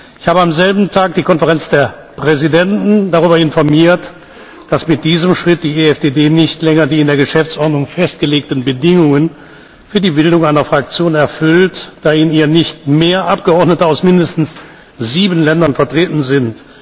Ich habe am selben Tag die Konferenz der Präsidenten darüber informiert, dass mit diesem Schritt die EFDD nicht länger die in der Geschäftsordnung festgelegten Bedingungen für die Bildung einer Fraktion erfüllt, da in ihr nicht mehr Abgeordnete aus mindestens sieben Ländern vertreten sind.